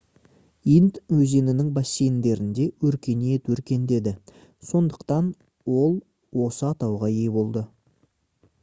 инд өзенінің бассейндерінде өркениет өркендеді сондықтан ол осы атауға ие болды